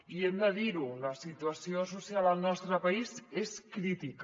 i hem de dir·ho la situació so·cial al nostre país és crítica